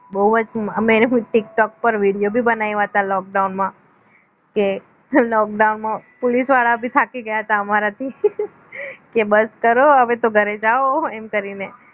બોવજ અમે tiktok પર video પણ બનાવ્યા હતા lockdown માં કે lockdown માં પોલીસ વાળા ભી થાકી ગયા તા અમારાથી કે બસ કરો હવે તો ઘરે જાવ એમ કરીને